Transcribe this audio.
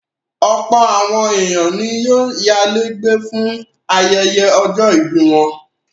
Ọ̀pọ̀ àwọn ènìyàn ni yóò yálé gbé fún ayẹyẹ ọjọ́-ìbí wọn.